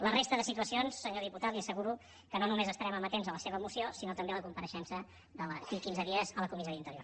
la resta de situacions senyor diputat li asseguro que no només estarem amatents a la seva moció sinó també a la compareixença d’aquí a quinze dies a la comissió d’interior